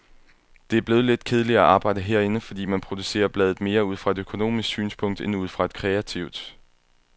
Det er blevet lidt kedeligere at arbejde herinde, fordi man producerer bladet mere ud fra et økonomisk synspunkt end ud fra et kreativt.